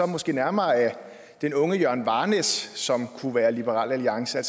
måske nærmere den unge jørgen varnæs som kunne være medlem af liberal alliance